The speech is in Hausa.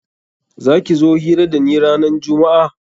Za ki zo hira da ni ranan jummu'a?